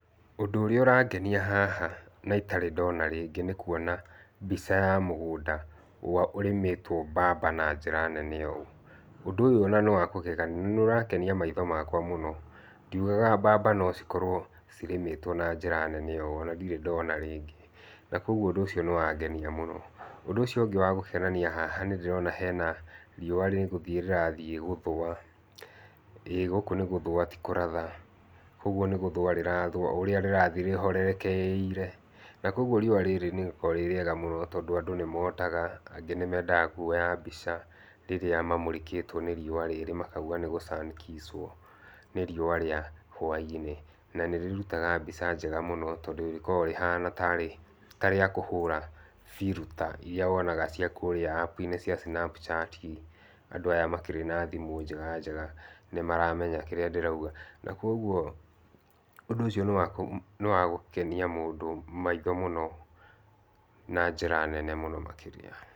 Ũndũ ũrĩa ũrangenia haha naitarĩ ndona rĩngĩ nĩ kũona mbica ya mũgũnda ũrĩa ũrĩmĩtwo mbamba na njĩra nene ũũ, ũndũ ũyũ na nĩwakũgegania nĩũragenia maitho makwa mũno ndiũgaga mbamba nocikorwo cirĩmĩtwo na njíĩa nene ũũ ona ndirĩ ndona rĩngĩ, na kwoguo ũndü ũcio nĩwangenia mũno, ũndũ ũcio ũngĩ nĩwakwonania haha nĩndĩrona hena rĩũa rĩrathii gũthũa, ĩĩ gũkũ nĩgũthũa tĩkũratha, kwoguo nĩkũthũa rĩrathũa ũrĩa rĩrathi rĩhorekeire na kwoguo riũa rĩrĩ rĩkoragwa rĩrĩega mũno tondũ andũ mangĩ nĩmotaga, angĩ nĩmendaga kwoya mbica rĩrĩa mamũrĩkĩtwe nĩ riúũ rĩrĩ makauga nĩ sun kiss nĩ riũa rĩa hwaĩinĩ na nĩrĩrutaga mbica njega mũno tondũ rĩkoragwa rĩhana tarĩakũhũra filter irĩa wonaga ciakũrĩa snapchat andũ arĩa makĩrĩ na thimũ njega njega nĩmarauga kĩrĩa ndĩrauga na kũoguo, na kwoguo ũndũ ũcio nĩwagũkenia mũndũ maitho mũno na njĩra mũno makĩria.